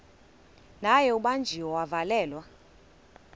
naye ubanjiwe wavalelwa